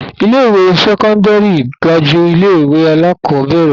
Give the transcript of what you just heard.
Ilé-ìwé sẹ́kọ́ndárì ga ju ilé-ìwé alákọ̀ọ́bẹ̀rẹ̀ lọ.